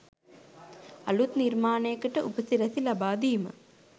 අළුත් නිර්මාණයකට උපසිරැසි ලබා දීම